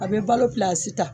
A bɛ balo ta